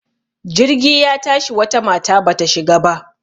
Jirgi ya tashi wata mata bata shiga ba.